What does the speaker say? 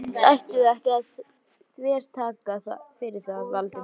Samt ættum við ekki að þvertaka fyrir það, Valdimar.